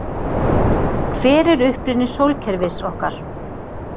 Hver er uppruni sólkerfis okkar?